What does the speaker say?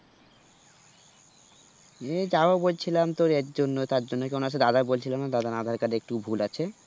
নিয়ে যাবো বলছিলাম তোর এরজন্য তারজন্য দাদা বলছিলাম দাদার aadhar card এ একটু ভুল আছে